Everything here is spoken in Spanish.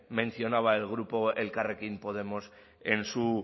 mencionaba el grupo elkarrekin podemos en su